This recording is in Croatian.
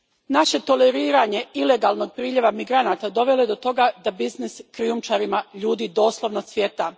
Naše toleriranje ilegalnog priljeva migranata dovelo je do toga da biznis krijumčarima ljudi doslovno cvjeta.